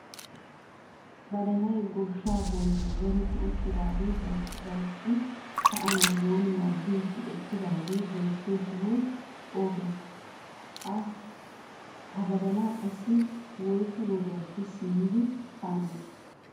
Badalay goshshaa bolli zerttidi uttidaagee dalqqi dalqqidi ka'anawu wonnuwaa eehidi eqqidaagee beettiyoo sohoy o gadenee? ha badalay qassi woyssu wodiyaappe simmidi ka'anawu danddiyii?